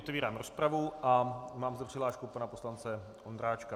Otevírám rozpravu a mám zde přihlášku pana poslance Ondráčka.